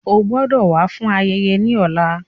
O gbọdọ wa fun ayẹyẹ ni ọla.